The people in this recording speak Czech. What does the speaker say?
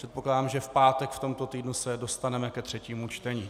Předpokládám, že v pátek v tomto týdnu se dostaneme ke třetímu čtení.